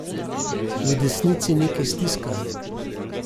V desnici nekaj stiska.